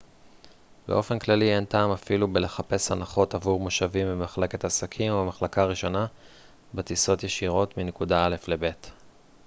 באופן כללי אין טעם אפילו בלחפש הנחות עבור מושבים במחלקת עסקים או במחלקה ראשונה בטיסות ישירות מנקודה א' לב'